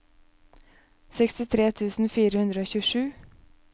sekstitre tusen fire hundre og tjuesju